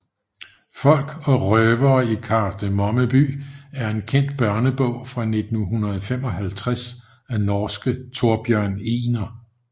Folk og røvere i Kardemomme by er en kendt børnebog fra 1955 af norske Thorbjørn Egner